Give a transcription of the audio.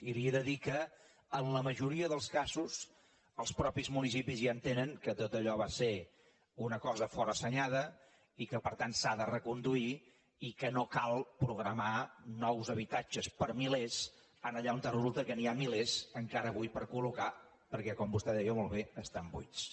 i li he de dir que en la majoria dels casos els mateixos municipis ja entenen que tot allò va ser una cosa forassenyada i que per tant s’ha de reconduir i que no cal programar nous habitatges per milers allà on resulta que n’hi ha milers encara avui per col·locar perquè com vostè deia molt bé estan buits